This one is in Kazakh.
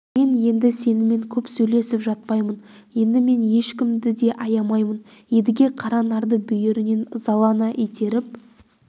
мен енді сенімен көп сөйлесіп жатпаймын енді мен ешкімді де аямаймын едіге қаранарды бүйірінен ызалана итеріп